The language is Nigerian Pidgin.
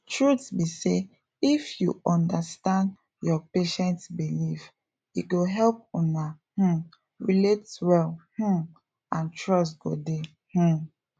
truth be say if you understand your patient beliefs e go help una um relate well um and trust go dey um